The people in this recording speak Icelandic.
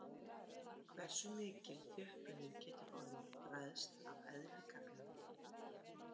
Hversu mikil þjöppunin getur orðið ræðst af eðli gagnanna.